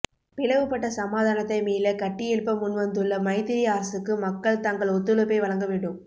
பிளவுபட்ட சமாதானத்தை மீளக் கட்டியெழுப்ப முன்வந்துள்ள மைத்திரி அரசுக்கு மக்கள் தங்கள் ஒத்துழைப்பை வழங்க வேண்டும்